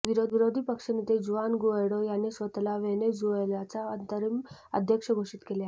विरोधी पक्ष नेते जुआन गुएडो यांनी स्वतःला व्हेनेझुएलाचा अंतरिम अध्यक्ष घोषित केले आहे